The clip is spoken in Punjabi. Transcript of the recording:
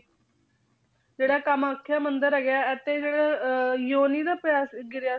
ਜਿਹੜਾ ਕਮਾਥਿਆ ਮੰਦਿਰ ਹੈਗਾ ਹੈ ਅਤੇ ਜਿਹੜਾ ਅਹ ਜੋਨੀ ਨਾ ਪੈਰ ਗਿਰਿਆ,